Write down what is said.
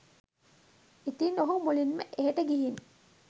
ඉතින් ඔහු මුලින්ම එහෙට ගිහින්